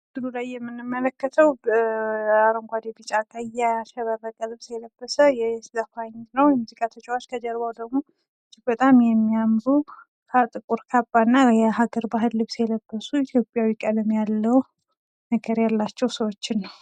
በምስሉ ላይ የምንመለከተው አረንጓዴ ፣ቢጫ ፣ቀይ ያሸበረቀ ልብስ የለበሰ ዘፋኝ ነው የሙዚቃ ተጫዋች ።ከጀርባው ደግሞ በጣም የሚያምሩ ጥቁር ካባ የለበሱ የሀገር ባህል ልብስ የለበሱ ኢትዮጵያዊ ቀለም ያለው ነገር ያላቸው ሰዎችን ነው።